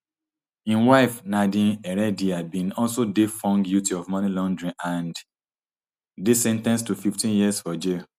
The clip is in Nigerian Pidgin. im wife nadine heredia bin also dey found guilty of money laundering and dey sen ten ced to fifteen years for jail